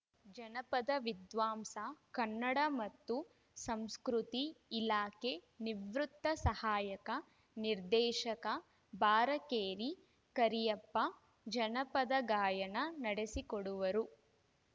ಜನಪದ ವಿದ್ವಾಂಸ ಕನ್ನಡ ಮತ್ತು ಸಂಸ್ಕೃತಿ ಇಲಾಖೆ ನಿವೃತ್ತ ಸಹಾಯಕ ನಿರ್ದೇಶಕ ಬಾರಕೇರಿ ಕರಿಯಪ್ಪ ಜನಪದ ಗಾಯನ ನಡೆಸಿಕೊಡುವರು